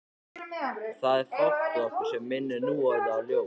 Það er fátt við okkur sem minnir núorðið á ljós.